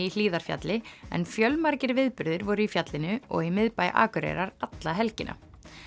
í Hlíðarfjalli en fjölmargir viðburðir voru í fjallinu og í miðbæ Akureyrar alla helgina